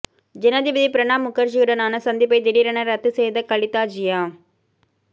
ஜனாதிபதி பிரணாப் முகர்ஜியுடனான சந்திப்பை திடீரென ரத்து செய்த கலிதா ஜியா